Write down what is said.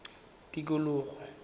tikologo